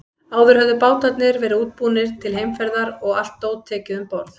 Áður höfðu bátarnir verið útbúnir til heimferðar og allt dót tekið um borð.